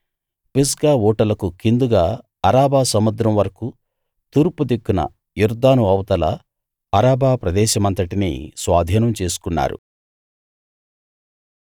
Pisgah ఊటలకు కిందుగా Arabah సముద్రం వరకూ తూర్పు దిక్కున యొర్దాను అవతల ఆరాబా ప్రదేశమంతటినీ స్వాధీనం చేసుకున్నారు